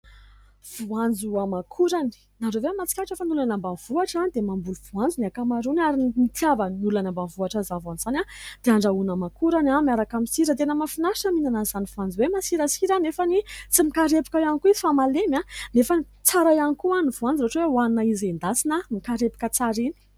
Voanjo aman-korany. Ianareo ve mahatsikaritra fa ny olona any ambanivohitra dia mamboly voanjo ny ankamarony ary nitiavan'ny olona any ambanivohitra izany voanjo izany dia andrahoana aman-korany miaraka amin'ny sira. Tena mahafinaritra mihinanan'izany voanjo hoe masirasira nefa any tsy mikarepoka ihany koa izy fa malemy nefa tsara ihany koa ny voanjo ohatra hoe hohanina izy endasina mikarepoka tsara iny.